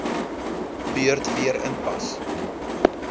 beurt weer inpas